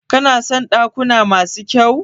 Kana son dakuna masu kyau?